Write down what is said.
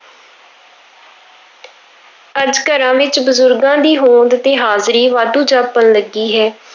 ਅੱਜ ਘਰਾਂ ਵਿੱਚ ਬਜ਼ੁਰਗਾਂ ਦੀ ਹੋਂਦ ਤੇ ਹਾਜ਼ਰੀ ਵਾਧੂ ਜਾਪਣ ਲੱਗੀ ਹੈ।